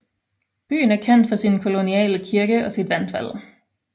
Byen er kendt for sin koloniale kirke og sit vandfald